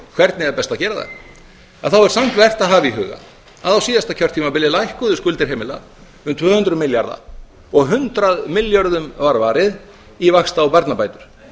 hvernig eigi að gera það þá er samt vert að hafa í huga að á síðasta kjörtímabili lækkuðu skuldir heimila um tvö hundruð milljarða og hundrað milljörðum var varið í vaxta og barnabætur